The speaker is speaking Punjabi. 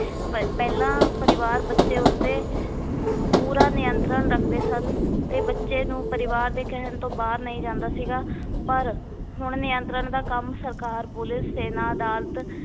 ਪ ਪਹਿਲਾਂ ਪਰਿਵਾਰ ਬੱਚੇ ਉੱਤੇ ਪੂਰਾ ਨਿਯੰਤਰਣ ਰੱਖਦੇ ਸਨ ਤੇ ਬੱਚੇ ਨੂੰ ਪਰਿਵਾਰ ਦੇ ਕਹਿਣ ਤੋਂ ਬਾਹਰ ਨਹੀ ਜਾਂਦਾ ਸੀਗਾ ਪਰ ਹੁਣ ਨਿਯੰਤਰਣ ਦਾ ਕੰਮ ਸਰਕਾਰ, ਪੁਲਿਸ, ਸੈਨਾ, ਅਦਾਲਤ